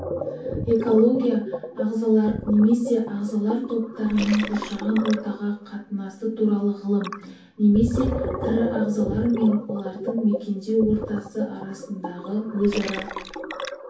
экология ағзалар немесе ағзалар топтарының қоршаған ортаға қатынасы туралы ғылым немесе тірі ағзалар мен олардың мекендеу ортасы арасындағы өзара